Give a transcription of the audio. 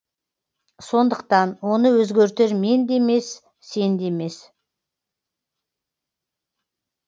сондықтан оны өзгертер мен де емес сен де емес